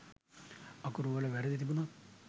අකුරු වල වැරදි තිබුනොත්